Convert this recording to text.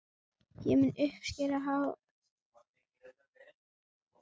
Ég mun uppskera óvild hans- og hatur, gáðu að því.